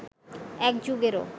এক যুগেরও